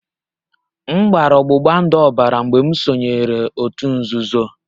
M gbara ọgbụgba ndụ ọbara mgbe m sonyeere òtù nzuzo